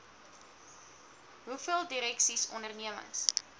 hoeveel direksies ondernemings